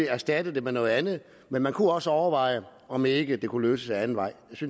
erstatte det med noget andet men man kunne også overveje om ikke det kunne løses ad anden vej